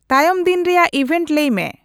ᱛᱟᱭᱚᱢ ᱫᱤᱱ ᱨᱮᱭᱟᱜ ᱤᱵᱦᱮᱱᱴ ᱞᱟᱹᱭ ᱢᱮ